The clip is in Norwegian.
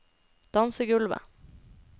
dansegulvet